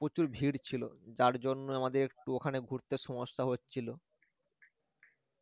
প্রচুর ভীড় ছিল যার জন্য আমাদের একটু ওখানে ঘুরতে সমস্যা হচ্ছিল